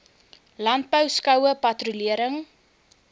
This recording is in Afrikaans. landbou skoue patrolering